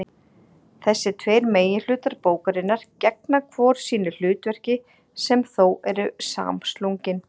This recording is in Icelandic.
Þessir tveir meginhlutar bókarinnar gegna hvor sínu hlutverki sem þó eru samslungin.